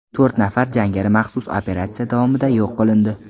To‘rt nafar jangari maxsus operatsiya davomida yo‘q qilindi.